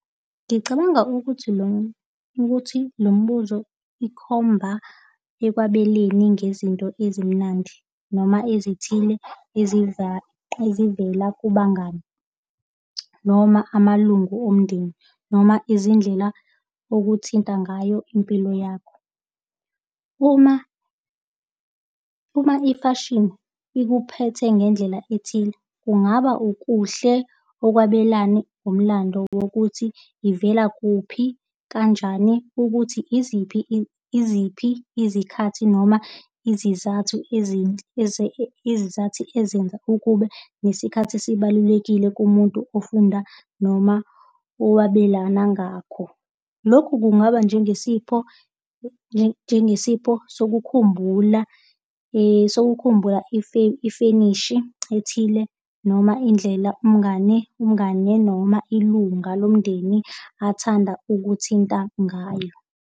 Ngicabanga ukuthi lo, ukuthi lo mbuzo ikhomba ekwabeleni ngezinto ezimnandi noma ezithile ezivela kubangani noma amalungu omndeni noma izindlela okuthinta ngayo impilo yakho. Uma, uma ifashini ikuphethe ngendlela ethile, kungaba ukuhle okwabelane umlando wokuthi ivela kuphi, kanjani ukuthi iziphi, iziphi izikhathi noma izizathu ezinhle izizathu ezenza ukuba nesikhathi esibalulekile kumuntu ofunda noma owabelana ngakho. Lokhu kungaba njengesipho, njengesipho sokukhumbula sokukhumbula ifenishi ethile noma indlela, umngane, umngane noma ilunga lomndeni athanda ukuthinta ngayo.